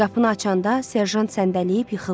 Qapını açanda serjant səndəyib yıxıldı.